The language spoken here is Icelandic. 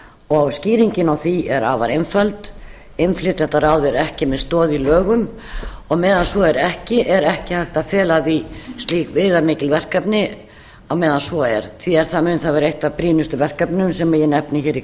og skýringin á því er afar einföld innflytjendaráð er ekki með stoð í lögum og meðan svo er ekki er ekki hægt að fela því slík viðamikil verkefni á meðan svo er því að það mun þá vera eitt af brýnustu verkefnum sem ég nefni hér í